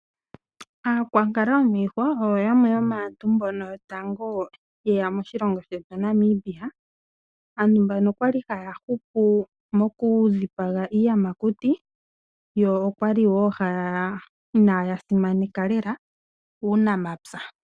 Aakwankala yomiihwa oyo yamwe yomaantu mbono yotango ye ya moshilongo shetu Namibia. Aantu mbano okwali haya hupu mokudhipaga iiyamakuti yo inaya simaneka lela uunamapya.